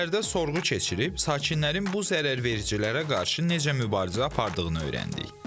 Şəhərdə sorğu keçirib sakinlərin bu zərərvericilərə qarşı necə mübarizə apardığını öyrəndik.